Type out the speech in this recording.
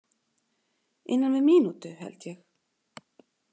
Innan við mínútu, held ég.